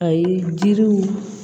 A ye jiriw